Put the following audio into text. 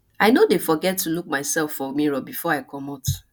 i no dey forget to look mysef for mirror before i comot